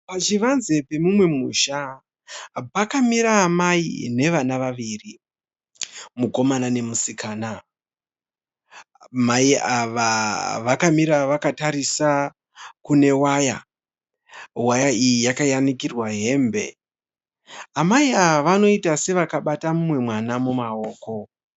Pachivanze pemumwe musha, pakamira amai navana vaviri, mukomana nomusikana. Mai ava vakamira vakatarisa kune waya. Waya iyi yakayanikirwa hembe. Amai ava vanoita sevakabata mumwe mwana mumaoko.